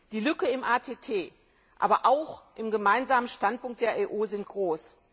Die Lücken im ATT, aber auch im Gemeinsamen Standpunkt der EU sind groß.